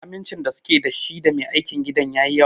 Amincin da suke da shi da Mai aikin gidan yayi yawa.